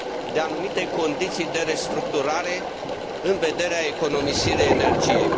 de anumite condiții de restructurare în vederea economisirii energiei.